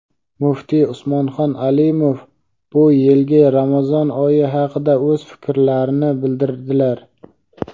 muftiy Usmonxon Alimov bu yilgi Ramazon oyi haqida o‘z fikrlarini bildirdilar.